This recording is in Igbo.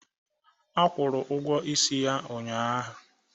A kwụrụ ụgwọ isi ya ụnyaahụ